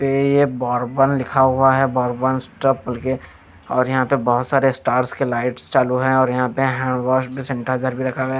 पे ये बोर्बन लिखा हुआ है बोर्बन स्टॉप कर के और यहां पे बहुत सारे स्टार्स के लाइट्स चालू है और यहां पे हैंड वॉश भी सैनिटाइजर भी रखा गया है।